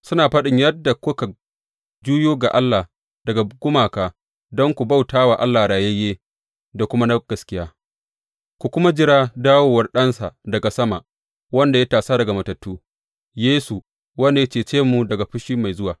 Suna faɗin yadda kuka juyo ga Allah daga gumaka don ku bauta wa Allah rayayye da kuma na gaskiya, ku kuma jira dawowar Ɗansa daga sama, wanda ya tasa daga matattu, Yesu, wanda ya cece mu daga fushi mai zuwa.